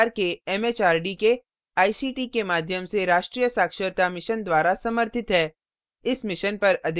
यह भारत सरकार के एमएचआरडी के आईसीटी के माध्यम से राष्ट्रीय साक्षरता mission द्वारा समर्थित है